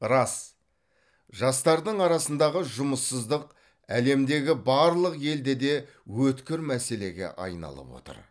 рас жастардың арасындағы жұмыссыздық әлемдегі барлық елде де өткір мәселеге айналып отыр